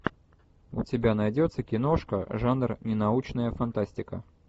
у тебя найдется киношка жанр ненаучная фантастика